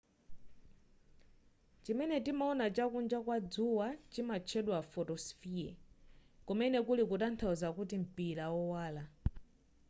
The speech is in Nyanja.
chimene timaona chakunja kwa dzuwa chimatchedwa photosphere kumene kuli kutanthauza kuti mpira wowala